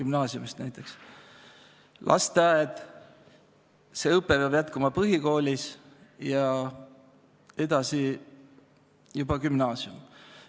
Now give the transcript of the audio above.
Alustada tuleb lasteaiast, õpe peab jätkuma põhikoolis ja edasi juba gümnaasiumis.